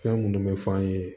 Fɛn minnu bɛ f'an ye